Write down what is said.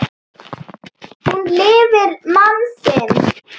Hún lifir mann sinn.